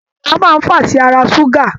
Èèrà máa fàá sí àrà ṣuga.